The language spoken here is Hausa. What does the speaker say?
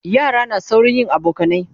yara na saurin yin abokanai